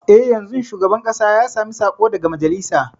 E, yanzun shugaban ƙasa ya sami saƙo daga majalisa.